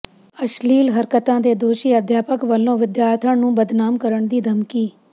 ਅਸ਼ਲੀਲ ਹਰਕਤਾਂ ਦੇ ਦੋਸ਼ੀ ਅਧਿਆਪਕ ਵੱਲੋਂ ਵਿਦਿਆਰਥਣ ਨੂੰ ਬਦਨਾਮ ਕਰਨ ਦੀ ਧਮਕੀ